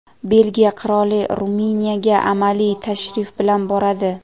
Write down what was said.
Belgiya qiroli Ruminiyaga amaliy tashrif bilan boradi.